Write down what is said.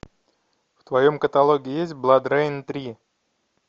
в твоем каталоге есть бладрейн три